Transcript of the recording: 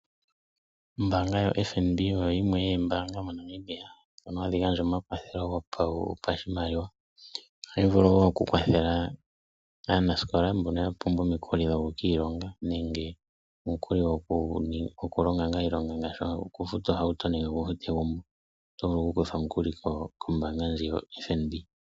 Ombanga yoFNB oyo yimwe yomoombanga moNamibia ndhono hadhi gandja omakwatho gopashimaliwa. Ohayi vulu wo okukwathela aanasikola mboka ya pumbwa omikuli dhokukiilonga nenge omikuli dhokufuta oohauto noshowo egumbo oto vu okukutha omukuli kombanga ndjika yoFNB.